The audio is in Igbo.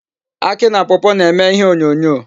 Akị na pawpaw na-eme ihe onyonyo.